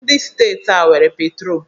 Ndi steeti a nwere petro